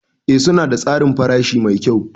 Ee suna da tsarin farashi mai kyau.